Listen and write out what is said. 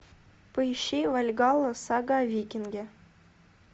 поищи вальгалла сага о викинге